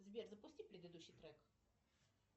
сбер запусти предыдущий трек